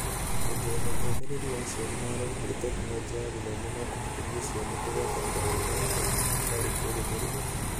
Kuongerera ũmĩrĩru wa aciari na arori harĩ Tekinoronjĩ ya Gĩthomo no kũhotithia ciana kũgũatanĩra wega na kaingĩ hatarĩ kũrũmĩrĩrwo.